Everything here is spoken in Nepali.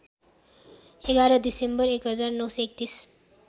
११ डिसेम्बर १९३१